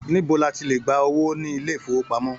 Níbo ní à ti le gbà owó nínú ilé ifowopamọ?